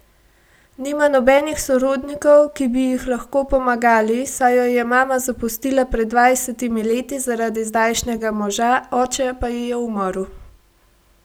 Nima nobenih sorodnikov, ki bi jih lahko pomagali, saj jo je mama zapustila pred dvajsetimi leti zaradi zdajšnjega moža, oče pa ji je umrl.